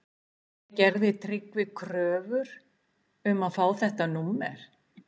En gerði Tryggvi kröfur um að fá þetta númer?